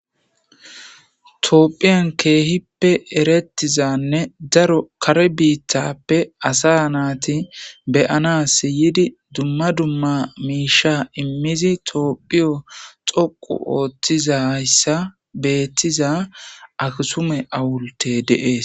Tophiyan kehipe eretizanne daro kare bitape as nati be'anasi yidi dumma dumma misha imidi tophiyo doqu othizaysa haysa betiza akisume hawulte de'es